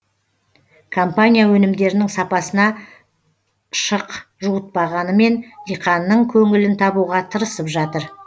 компания өнімдерінің сапасына шық жуытпағанымен диқанның көңілін табуға тырысып жатыр